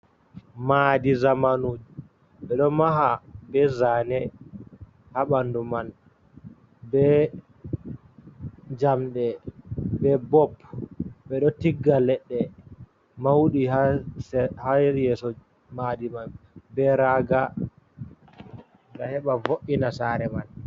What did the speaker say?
mahdi zamanu ɓe ɗo maha be zane ha ɓandu man, be jamɗe, be bob, ɓe ɗo tigga leɗɗe mauɗi ha yeso mahdi mai, be raaga ngam heba vo’’ina sare man.